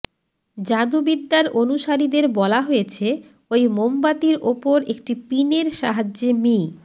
জাদুবিদ্যার অনুসারীদের বলা হয়েছে ঐ মোমবাতির ওপর একটি পিনের সাহায্যে মি